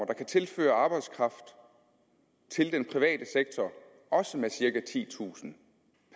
der kan tilføre arbejdskraft til den private sektor også med cirka titusind